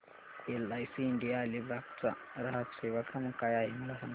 LIC India Alibag चा ग्राहक सेवा क्रमांक काय आहे मला सांगा